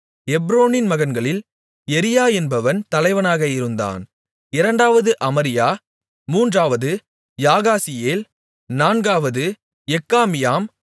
எப்ரோனின் மகன்களில் எரியா என்பவன் தலைவனாக இருந்தான் இரண்டாவது அமரியா மூன்றாவது யாகாசியேல் நான்காவது எக்காமியாம்